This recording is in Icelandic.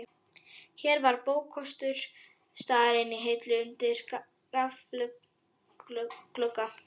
Hér var bókakostur staðarins í hillum undir gaflglugga.